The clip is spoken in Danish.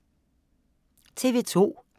TV 2